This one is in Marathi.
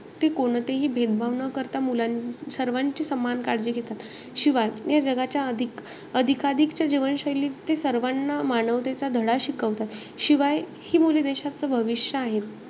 ते कोणतेही भेदभाव न करता मुलां~ सर्वांची सामान काळजी घेतात. शिवाय, या जगाच्या अधिक~ अधिकाधिकच्या जीवनशैलीत ते सर्वाना मानवतेचा धडा शिकवतात. शिवाय हि मुले देशाचं भविष्य आहे.